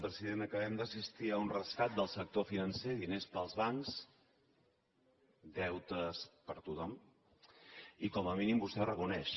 president acabem d’assistir a un rescat del sector financer diners per als bancs deutes per a tothom i com a mínim vostè ho reconeix